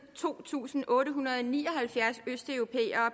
to tusind otte hundrede og ni og halvfjerds østeuropæere